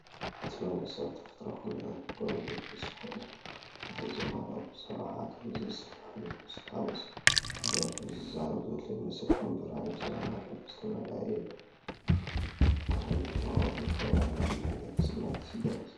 እቲ መንእሰይ ኣብ ተፈጥሮኣዊ ኵነታት ደው ኢሉ፡ ገጹ ውዑይ መንፈስ ዝመልኦ እዩ ፣ ብዛዕባ ሓደ ዝፍታሕ ዝመስል ሓጎስ ዝደርፍ/ዝዛረብ ዘሎ ይመስል፣ ከም ብርሃን ብዘመናዊ ሕብሪ ዝተመልአ። ኢዱ ኣብ ግንባሩ ተቐሚጣ፡ ቁሩብ ፍቕርን ናይ ምሕዳግ ስምዒትን ይግለጽ።